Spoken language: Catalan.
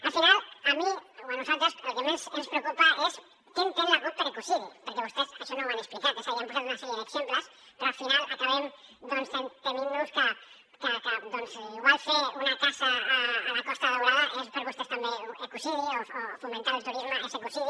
al final a mi o a nosaltres el que més ens preocupa és què entén la cup per ecocidi perquè vostès això no ho han explicat és a dir han posat una sèrie d’exemples però al final acabem tement nos que igual fer una casa a la costa daurada és per vostès també un ecocidi o fomentar el turisme és ecocidi